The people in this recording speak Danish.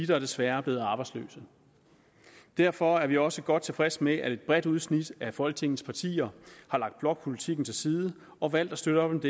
der desværre er blevet arbejdsløse derfor er vi også godt tilfredse med at et bredt udsnit af folketingets partier har lagt blokpolitikken til side og valgt at støtte op